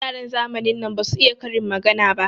Yaran zamanin nan basu iya karin magana ba.